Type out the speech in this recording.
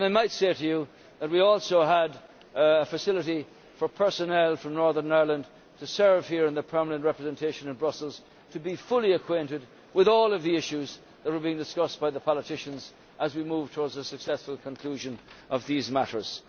I might say that we also had a facility for personnel from Northern Ireland to serve here in the Permanent Representation in Brussels to be fully acquainted with all of the issues that were being discussed by the politicians as we moved towards the successful conclusion of these matters.